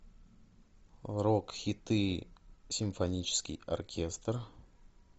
рок хиты симфонический оркестр